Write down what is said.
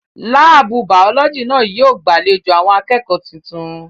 Láàbù Bàọ́lọ́jì náà yóò gbàlejò àwọn akẹ́kọ̀ọ́ tuntun